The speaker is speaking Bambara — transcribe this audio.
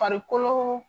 Farikolo